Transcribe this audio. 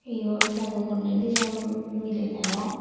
yot bego polle dijon miley degong.